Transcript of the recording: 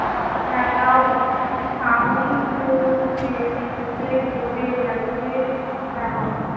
about, sound, display, storage আছে about